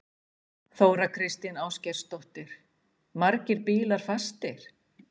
Þóra Kristín Ásgeirsdóttir: Margir bílar fastir?